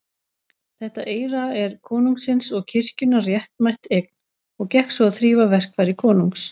Þetta eyra er konungsins og kirkjunnar réttmætt eign, og gekk svo að þrífa verkfæri konungs.